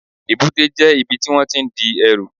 Èbúté jẹ́ ibi tí wón tí n di ẹrù